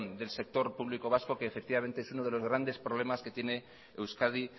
del sector público vasco que es uno de los grandes problemas que tiene euskadi